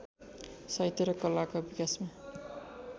साहित्य र कलाका विकासमा